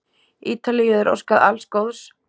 Ítalíu er óskað alls góðs.